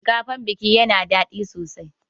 Shinkafan biki yana daɗi sosai.